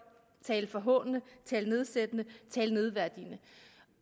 tale forhånende tale nedsættende tale nedværdigende